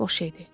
Boş idi.